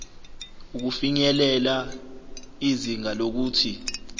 ukufinyelela izinga lokuthi